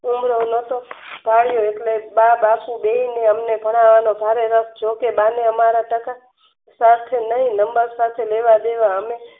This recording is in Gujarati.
ભાળીયો એટલે બા બારસો બેહીને અમને ભણવાનો ભારે રસ જોકે બા ને અમારા કરતા નય નંબર સાથે લેવા દેવા અને